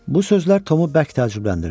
Bu sözlər Tomu bərk təəccübləndirdi.